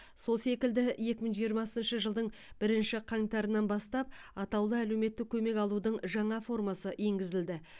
сол секілді екі мың жиырмасыншы жылдың бірінші қаңтарынан бастап атаулы әлеуметтік көмек алудың жаңа формасы енгізілді